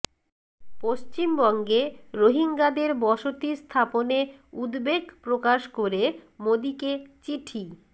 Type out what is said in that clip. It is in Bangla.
পশ্চিমবঙ্গে রোহিঙ্গাদের বসতি স্থাপনে উদ্বেগ প্রকাশ করে মোদিকে চিঠি